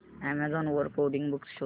Amazon वर coding books शोधा